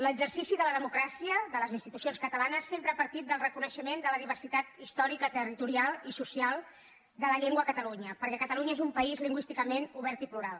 l’exercici de la democràcia de les institucions catalanes sempre ha partit del reconeixement de la diversitat històrica territorial i social de la llengua a catalunya perquè catalunya és un país lingüísticament obert i plural